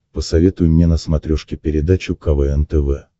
посоветуй мне на смотрешке передачу квн тв